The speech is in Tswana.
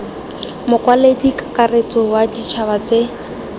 mokwaledi kakaretso wa ditšhaba tse